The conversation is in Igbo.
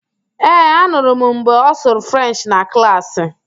Ee, anụrụ m mgbe ọ sụrụ Frenchị na klaasị.